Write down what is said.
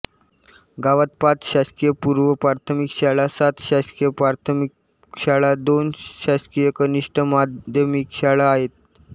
गावात पाच शासकीय पूर्वप्राथमिक शाळा सात शासकीय प्राथमिक शाळा दोन शासकीय कनिष्ठ माध्यमिक शाळा आहेत